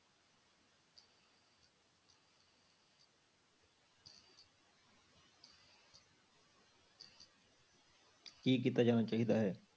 ਕੀ ਕੀਤਾ ਜਾਣਾ ਚਾਹੀਦਾ ਹੈ?